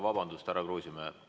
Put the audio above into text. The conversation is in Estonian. Tarmo Kruusimäe, palun vabandust!